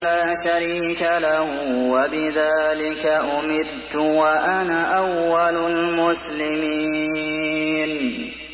لَا شَرِيكَ لَهُ ۖ وَبِذَٰلِكَ أُمِرْتُ وَأَنَا أَوَّلُ الْمُسْلِمِينَ